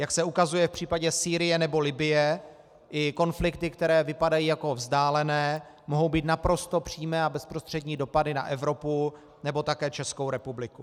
Jak se ukazuje v případě Sýrie nebo Libye, i konflikty, které vypadají jako vzdálené, mohou mít naprosto přímé a bezprostřední dopady na Evropu, nebo také Českou republiku.